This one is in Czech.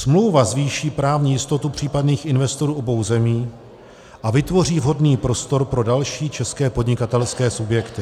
Smlouva zvýší právní jistotu případných investorů obou zemí a vytvoří vhodný prostor pro další české podnikatelské subjekty.